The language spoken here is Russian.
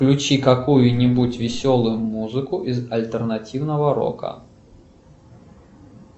включи какую нибудь веселую музыку из альтернативного рока